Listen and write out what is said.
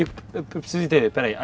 Eu eu preciso entender, espera aí.